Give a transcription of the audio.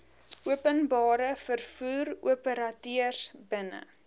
openbare vervoeroperateurs binne